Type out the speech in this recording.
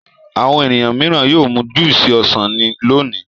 Àwọn ènìyàn mìíràn yóò mu júúsì ọsàn ní lónìí.